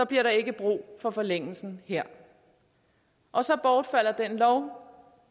bliver der ikke brug for forlængelsen her og så bortfalder den lov